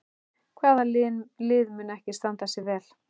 Hvaða lið mun ekki standa sig vel?